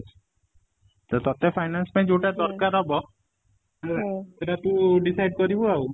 ତ ତତେ finance ପାଇଁ ଯୋଉଟା ଦରକାର ହବ ସେଇଟା ତୁ decide କରିବୁ ଆଉ